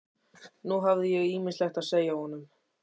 Nú hafði ég ýmislegt að segja honum.